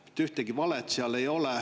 Mitte ühtegi valet seal ei olnud.